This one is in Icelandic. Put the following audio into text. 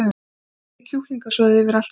Hellið kjúklingasoði yfir allt saman.